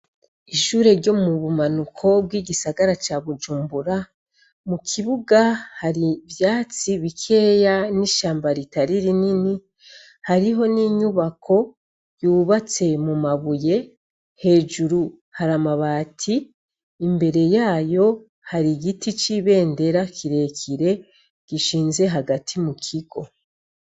Ishure ryo mu bumanuko bw'igisagara ca bujumbura mu kibuga hari vyatsi bikeya n'ishamba ritariri nini hariho n'inyubako yubatse mu mabuye hejuru hari amabati imbere yayo hari igiti c'ibendera akirekire gishinze hagati mu kigo.